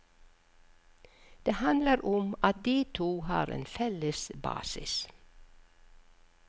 Det handler om at de to har en felles basis.